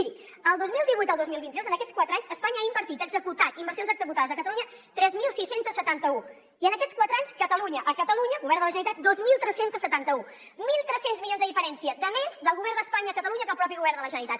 miri del dos mil divuit al dos mil vint dos en aquests quatre anys espanya ha invertit ha executat inversions executades a catalunya tres mil sis cents i setanta un i en aquests quatre anys catalunya a catalunya govern de la generalitat dos mil tres cents i setanta un mil tres cents milions de diferència de més del govern d’espanya a catalunya que el propi govern de la generalitat